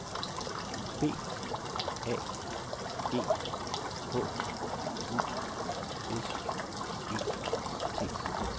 B A G H U S E T